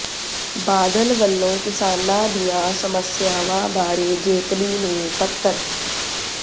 ਬਾਦਲ ਵੱਲੋਂ ਕਿਸਾਨਾਂ ਦੀਆਂ ਸਮੱਸਿਆਵਾਂ ਬਾਰੇ ਜੇਤਲੀ ਨੂੰ ਪੱਤਰ